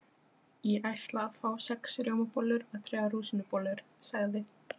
Ég ætla að fá sex rjómabollur og þrjár rúsínubollur, sagði